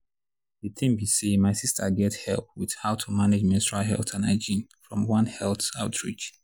the thing be say my sister get help with how to manage menstrual health and hygiene from one health outreach.